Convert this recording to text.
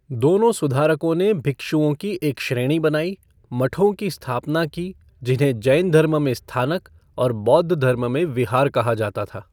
दोनों सुधारकों ने भिक्षुओं की एक श्रेणी बनाई, मठों की स्थापना की जिन्हें जैनधर्म में स्थानक और बौद्ध धर्म में विहार कहा जाता था।